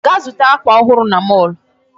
Gaa zụta akwa ọhụrụ na mall.